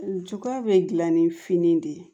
Juga be gilan ni fini de ye